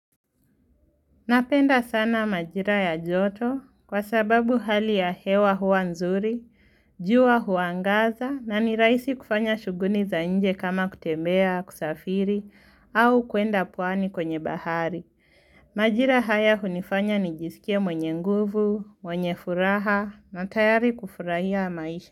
Napenda sana majira ya joto kwa sababu hali ya hewa hua nzuri, jua huangaza na niraisi kufanya shuguni za nje kama kutembea, kusafiri au kuenda pwani kwenye bahari. Majira haya hunifanya nijisikie mwenye nguvu, mwenye furaha na tayari kufurahia maisha.